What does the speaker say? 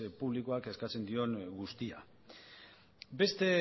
publikoak eskatzen dion guztia beste